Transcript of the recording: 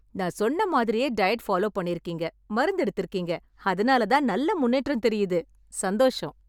நான் சொன்ன மாதிரியே டயட் ஃபாலோ பண்ணிருக்கீங்க, மருந்து எடுத்துருக்கீங்க... அதனால நல்ல முன்னேற்றம் தெரியுது... சந்தோஷம்.